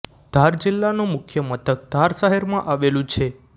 ધાર જિલ્લાનું મુખ્ય મથક ધાર શહેરમાં આવેલું છે